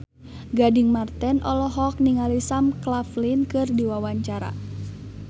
Gading Marten olohok ningali Sam Claflin keur diwawancara